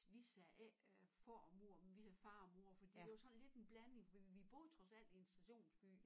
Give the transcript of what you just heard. Vi sagde ikke far og mor vi sagde far og mor fordi det var sådan lidt en blanding fordi vi boede trods alt i en stationsby